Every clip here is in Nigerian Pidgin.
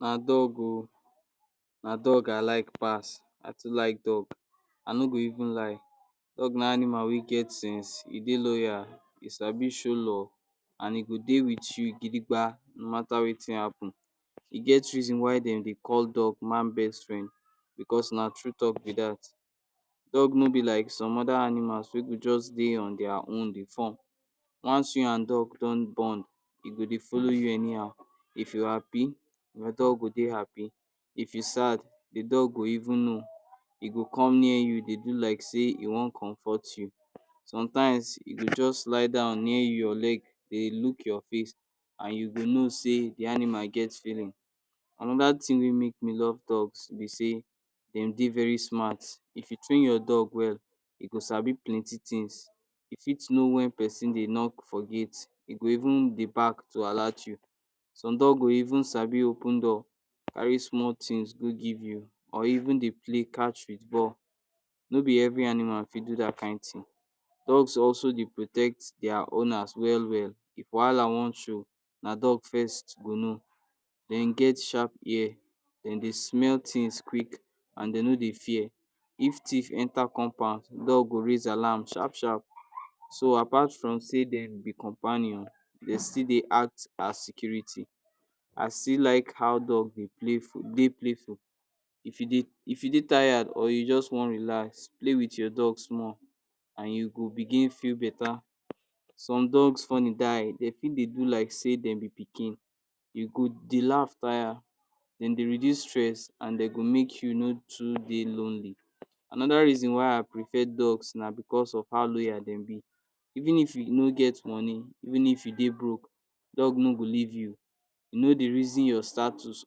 Na dog oh, na dog I like pass. I too like dog. I no go even lie. Dog na animal wey get sense, e dey loyal, e sabi show love and e do dey with you gidigba no matter wetin happen. E get reason why de dey call dog man's best friend becos na true talk be dat. Dog no be like some other animals wey go just dey on their own dey form. Once you and dog don bond, e go dey follow you anyhow. If you happy, your dog go dey happy. If you sad, the dog go even know. E gol come near you, dey do like sey, e wan comfort you. Sometimes, e go just lie down near your leg, dey look your face, and you go know sey, the animal get feeling. Another thing wey make me love dog be sey, de dey very smart. If you train your dog well, e go sabi plenty things. E fit know wen pesin dey knock for gate, e go even dey bark to alert you. Some dog go even sabi open door, carry small things go give you, or even dey play catch with ball. No be every animal fit do dat kind thing. Dogs also dey protect their owners well well. If wahala wan show, na dog first go know. De get sharp ear, de dey smell things quick, and de no dey fear. If thief enter compound, dog go raise alarm sharp sharp. So apart from sey dm be companion, de still dey act as security. I still like how dog dey play for, dey playful. If you dey, If you dey tire or you just wan relax, play with your dogs more and you go begin feel better. Some dogs funny die. De fit dey do like say dem be pikin. You go dey laugh tire, de dey reduce stress, and de go make you no too dey lonely. Anoda reason why I prefer dogs na because of how loyal dem be. Even if you no get money, even if you dey broke, dog no go leave you. E no dey reason your status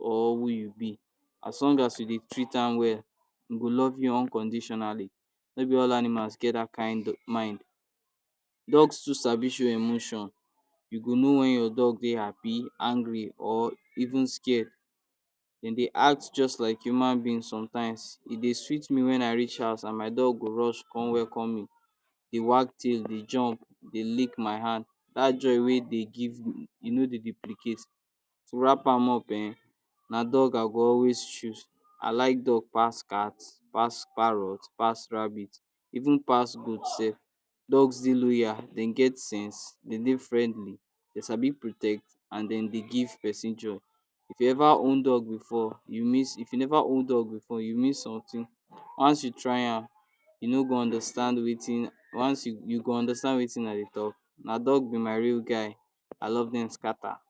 or who you be. As long as you dey treat am well, e go love you unconditionally. No be all animals get dat kind mind. Dogs too sabi show emotion. You go know wen your dog dey happy, angry or even scared. De dey act just like human being sometimes. E dey sweet me wen I reach house and my dog go rush con welcome me. They wag tail, they jump, they lick my hand. Dat joy wey dey give, e no dey duplicate. To wrap am up um, na dog I go always choose. I like dog pas cat, pass parrot, pass rabbit even pass goat self. Dogs dey loyal, de get sense, de dey friendly, they sabi protect and de dey give pesin joy. If you ever own dog before, you miss, If you never own dog before, you miss something. Once you try am, you no go understand wetin, once you go understand wetin i dey talk. Na dog be my real guy. I love cem Scatter.